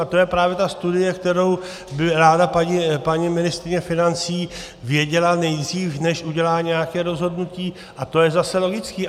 A to je právě ta studie, kterou by ráda paní ministryně financí věděla nejdřív, než udělá nějaké rozhodnutí, a to je zase logické.